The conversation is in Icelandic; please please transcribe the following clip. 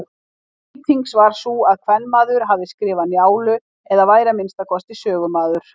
Lýtings var sú að kvenmaður hefði skrifað Njálu eða væri að minnsta kosti sögumaður.